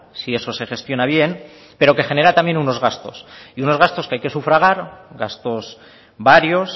si eso se gestiona bien pero que genera también unos gastos y unos gastos que hay que sufragar gastos varios